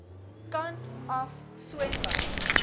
kant af swembad